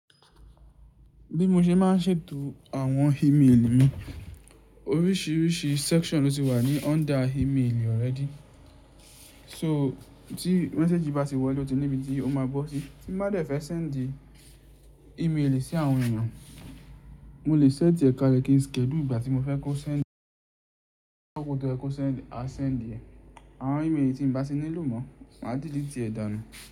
Bí mo ṣe máa ń ṣètò àwọn ímeèlì mi, oríṣìíríṣìí section ló ti wà ní under ímeèlì already. So tí message bá ti wọlé o ti níbi tí ó máa bọ́ sí. Tí n bá de fẹ́ sendí ímeèlì sí àwọn èèyàn, mo lè set é kalẹ̀ kí n schedule ìgbà tí mo fẹ́ kó send, akokọ̀ toyẹ kó send, a send é. Àwọn ímeèlì tí n bá tí nílò mọ̀, màá dìliti ẹ́ dà nù.